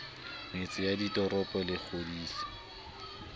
metse ya ditoropo le kgodiso